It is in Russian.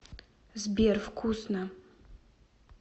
сбер вкусно